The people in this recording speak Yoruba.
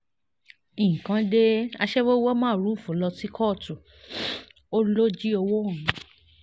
nǹkan dé aṣẹ́wó wọ mórúfú lọ sí kóòtù ó lọ jí ọwọ́ òun